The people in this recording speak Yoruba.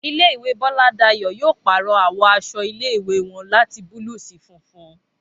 Ilé ìwé Bọ́ládayọ̀ yóò pàrọ̀ àwọ̀ aṣọ ilé ìwé wọn láti búlúù sí funfun